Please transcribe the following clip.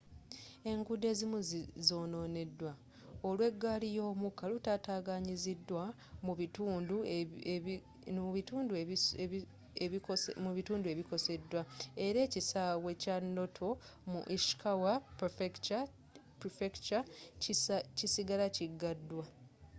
enguudo ezimu zononeddwa olw'egaali y'omukka lutataganyiziddwa mu bitundu ebikoseddwa era ekisaawe kya noto mu ishikawa prefecture kisigala kigaddwa